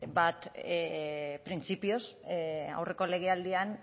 printzipioz aurreko legealdian